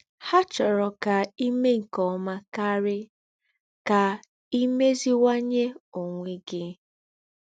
Hà chòrò ká í méè nké ọ́mà kárì, ká í mézìwànyé ònwé gí.